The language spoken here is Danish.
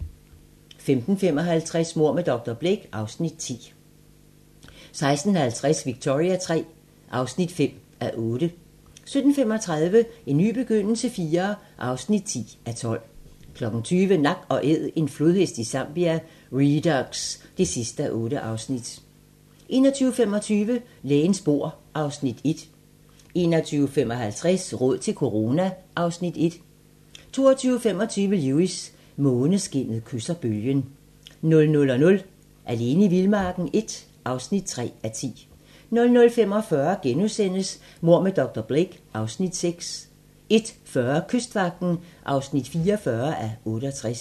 15:55: Mord med dr. Blake (Afs. 10) 16:50: Victoria III (5:8) 17:35: En ny begyndelse IV (10:12) 20:00: Nak & Æd - en flodhest i Zambia - Redux (8:8) 21:25: Lægens bord (Afs. 1) 21:55: Råd til corona (Afs. 11) 22:25: Lewis: Måneskinnet kysser bølgen 00:00: Alene i vildmarken I (3:10) 00:45: Mord med dr. Blake (Afs. 6)* 01:40: Kystvagten (44:68)